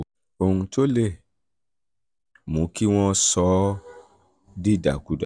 ohun tó lè ohun tó lè mú kí wọ́n sọ ọ́ dìdàkudà